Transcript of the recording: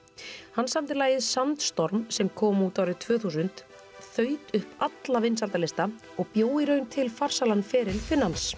hann samdi lagið sem kom út árið tvö þúsund þaut upp alla vinsældarlista og bjó í raun til farsælan feril Finnans